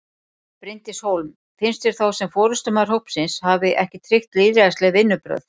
Bryndís Hólm: Finnst þér þá sem forystumaður hópsins hafi ekki tryggt lýðræðisleg vinnubrögð?